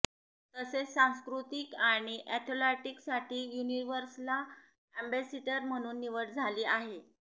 तसेच सांस्कृतिक आणि अॅथलेटिकसाठी युनिर्व्हसल अॅम्बॅसिडर म्हणून निवड झाली आहे